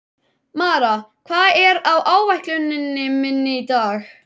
Mara, hvað er á áætluninni minni í dag?